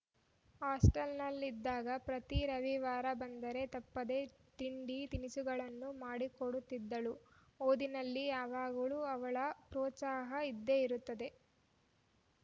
ಹಾಸ್ಟೆಲನಲ್ಲಿದ್ದಾಗ ಪ್ರತಿ ರವಿವಾರ ಬಂದರೆ ತಪ್ಪದೇ ತಿಂಡಿ ತಿನಿಸುಗಳನ್ನು ಮಾಡಿಕೊಡುತ್ತಿದ್ದಳು ಓದಿನಲ್ಲಿ ಯಾವಾಗಲೂ ಅವಳ ಪ್ರೋತ್ಸಾಹ ಇದ್ದೇ ಇರುತ್ತದೆ